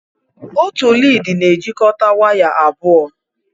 Otu lịdị na-ejikọta waya abụọ.